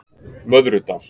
Möðrudal